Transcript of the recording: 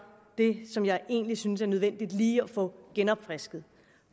det som jeg egentlig synes er nødvendigt lige at få genopfrisket